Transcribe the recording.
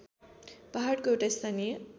पहाडको एउटा स्थानीय